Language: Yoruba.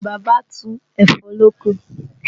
Bàbá tu ẹ̀fọ́ lóko